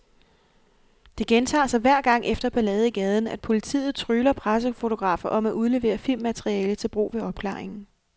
Det gentager sig hver gang efter ballade i gaden, at politiet trygler pressefotografer om at udlevere filmmateriale til brug ved opklaringen.